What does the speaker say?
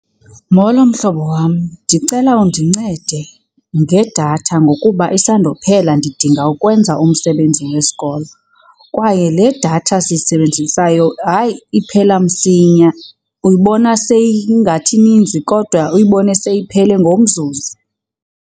Molo, mhlobo wam. Ndicela undincede ngedatha ngokuba isandophela ndidinga ukwenza umsebenzi wesikolo. Kwaye le datha siyisebenzisayo, hayi, iphela msinya, uyibona seyingathi ininzi kodwa uyibone seyiphele ngomzuzu.